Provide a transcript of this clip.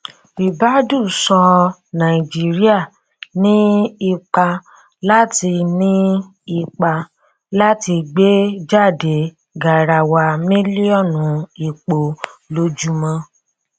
ribadu sọ nàìjíríà ní ipá láti ní ipá láti gbé jáde garawa mílíọnù epọ lójúmọ